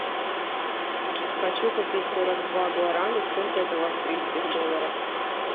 хочу купить сорок два гуарани сколько это в австрийских долларах